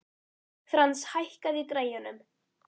Frans, hækkaðu í græjunum.